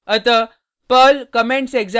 अतः perl commentsexample dot pl